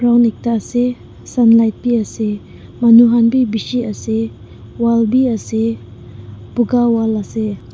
ekta ase sunlight bhi ase manu khan bhi bisi ase wall bhi ase boga wall ase.